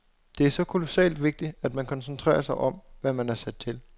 Det er så kolossalt vigtigt, at man koncentrerer sig om, hvad man er sat til.